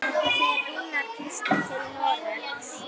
Opinber skipti